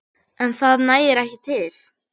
En það nægi ekki til.